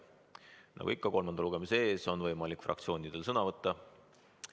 Nagu ikka, kolmandal lugemisel on võimalik fraktsioonidel sõna võtta.